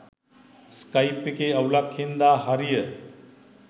Skype එකේ අවුලක් හින්දා හරිය.